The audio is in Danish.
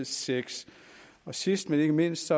seks sidst men ikke mindst